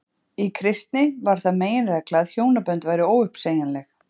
í kristni varð það meginregla að hjónabönd væru óuppsegjanleg